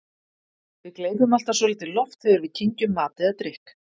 Við gleypum alltaf svolítið loft þegar við kyngjum mat eða drykk.